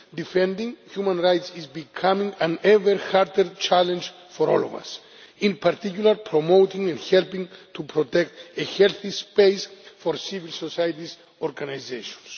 Defending human rights is becoming an ever harder challenge for all of us, in particular, promoting and helping to protect a healthy space for civil society organisations.